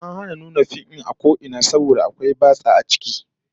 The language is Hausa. An hana nuna fim din a ko ina saboda akwai batsa a ciki